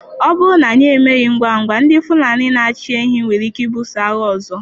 Ọ bụrụ na anyị emeghị ngwa ngwa, ndị Fulani na-achị ehi nwere ike ibuso agha ọzọ.